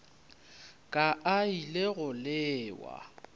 ka a ile go lewa